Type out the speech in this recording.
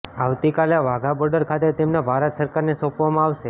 આવતીકાલે વાઘા બોર્ડર ખાતે તેમને ભારત સરકારને સોંપવામાં આવશે